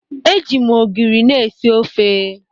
E ji m ogiri na-esi ofe.